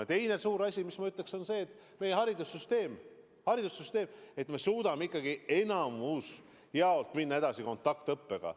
Ja teine suur eesmärk on seotud meie haridussüsteemiga: et me suudame ikkagi suuremas osas minna edasi kontaktõppega.